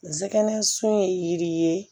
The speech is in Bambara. Nɛgɛnsun ye yiri ye